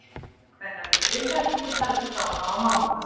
Kvennalið Grindavíkur heldur þangað á mánudag.